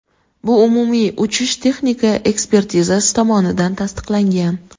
Bu umumiy uchish-texnika ekspertizasi tomonidan tasdiqlangan.